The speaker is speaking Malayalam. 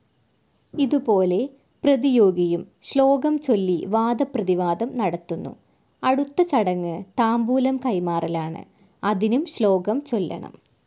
ഇതുപോലെ പ്രതിയോഗിയും ശ്ലോകംചൊല്ലി വാദപ്രതിവാദം നടത്തുന്നു. അടുത്ത ചടങ്ങ് താംബൂലം കൈമാറലാണ്. അതിനും ശ്ലോകം ചൊല്ലണം.